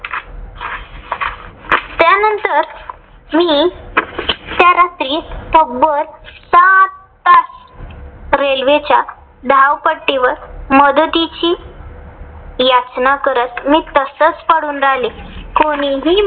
मी त्या रात्री तब्बल सात तास रेल्वेच्या धावपट्टीवर मदतीची याचना करत मी तसच पडून राहिले. कोणीही